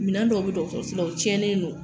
Minɛndɔw be dɔgɔtɔrɔsɔ la o cɛnnen no